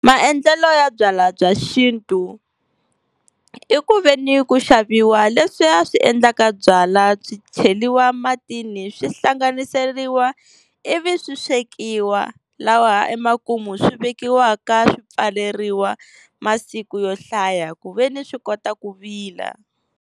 Maendlelo ya byala bya xintu, i ku veni ku xaviwa leswiya swi endlaka byala byi cheriwa matini swi hlanganiseriwa, ivi swi swekiwa lawa emakumu swi vekiwaka swi pfaleriwa masiku yo hlaya ku veni swi kota ku vila.